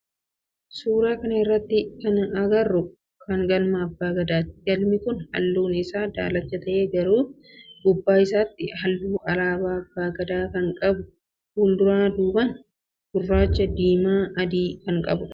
Suuraa kana irratti kana agarru mana galma abbaa Gadaati. Galmi kun halluu isaa daalacha ta'e garuu gubbaa isaatii halluu alaabaa abbaa Gadaa kan ta'e walduraa duuban, gurraacha, diimaa fi adii qaba.